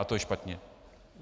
A to je špatně.